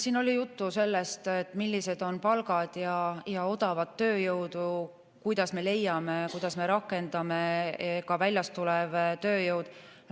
Siin oli juttu sellest, millised on palgad, kuidas me leiame odavat tööjõudu ja kuidas me rakendame väljast tulevat tööjõudu.